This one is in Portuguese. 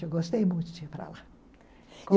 Eu gostei muito de ir para lá.